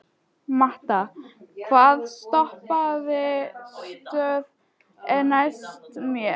Matta, hvaða stoppistöð er næst mér?